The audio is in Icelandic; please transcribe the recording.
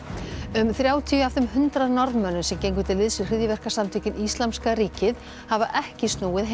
um þrjátíu af þeim hundrað Norðmönnum sem gengu til liðs við hryðjuverkasamtökin Íslamska ríkið hafa ekki snúið